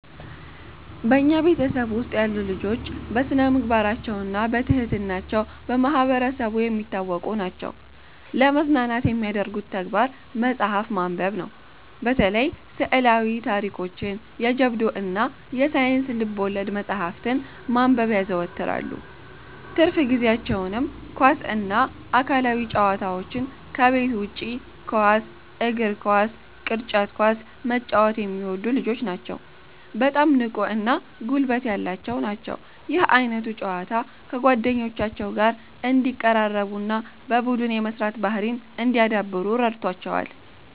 በኛ ቤተሰብ ውስጥ ያሉ ልጆች በስነምግባራቸውና በትህትና ቸው በማህበረሰቡ የሚታወቁ ናቸዉ። ለመዝናናት የሚያደርጉት ተግባር መጽሐፍ ማንበብነው። በተለይ ስዕላዊ ታሪኮችን፣ የጀብዱ እና የሳይንስ ልብወለድ መጽሐፍትን ማንበብ ያዘወትራሉ። ትርፍ ጊዜአቸውንም ኳስ እና አካላዊ ጨዋታዎች ከቤት ውጭ ኳስ (እግር ኳስ፣ ቅርጫት ኳስ) መጫወት የሚወዱ ልጆች ናቸዉ በጣም ንቁ እና ጉልበት ያላቸው ናቸው። ይህ ዓይነቱ ጨዋታ ከጓደኞቻቸው ጋር እንዲቀራረቡና በቡድን የመስራት ባህርይን እንዲያዳብሩ ረድቶቸዋል።